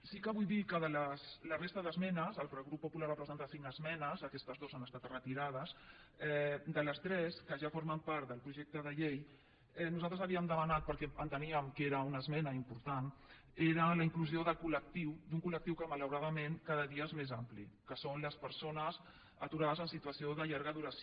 sí que vull dir que la resta d’esmenes el grup popular va presentar cinc esmenes aquestes dues han estat retirades de les tres que ja formen part del projecte de llei nosaltres havíem demanat perquè enteníem que era una esmena important era la inclusió d’un col·lectiu que malauradament cada dia és mes ampli que són les persones aturades en situació de llarga durada